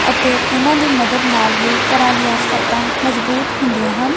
ਅਤੇ ਇਹਨਾਂ ਦੀ ਮਦਦ ਨਾਲ ਹੀ ਘਰਾਂ ਦੀਆਂ ਛੱਤਾਂ ਮਜ਼ਬੂਤ ਹੁੰਦੀਆਂ ਹਨ।